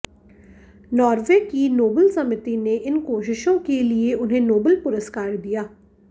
Norway की Nobel समिति ने इन कोशिशों के लिए उन्हें नोबेल पुरस्कार दिया